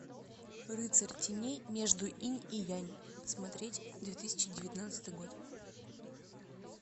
рыцарь теней между инь и янь смотреть две тысячи девятнадцатый год